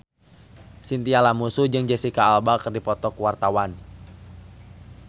Chintya Lamusu jeung Jesicca Alba keur dipoto ku wartawan